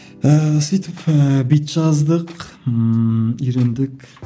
ііі сөйтіп ііі бит жаздық ммм үйрендік